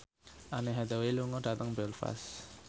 Anne Hathaway lunga dhateng Belfast